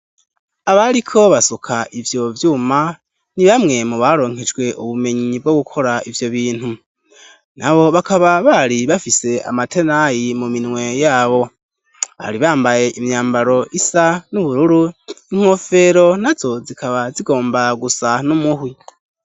Abariko basuka ivyo vyuma ni bamwe mu baronkejwe ubumenyi bwo gukora ivyo bintu. Nabo bakaba bari bafise amatenayi mu minwe yabo, bari bambaye imyambaro isa n'ubururu inkofero nazo zikaba zigomba gusa n'umuhwi.